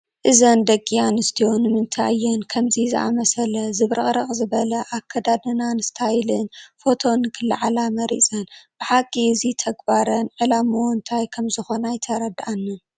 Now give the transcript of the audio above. እዘን ደቂ ኣንስትዮ ንምታይ እየን ከምዚ ብዝኣምሰለ ዝብርቕርቕ ዝበለ ኣከዳድናን ስታይልን ፎቶ ንክለዓላ መሪፀን፡፡ ብሓቂ እዚ ተግባረን ዕላምኡ እንታይ ከምዝኾነ ኣይተረድአንን፡፡